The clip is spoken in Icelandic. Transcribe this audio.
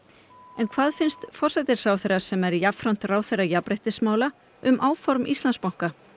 en hvað finnst forsætisráðherra sem jafnframt er ráðherra jafnréttismála um áform Íslandsbanka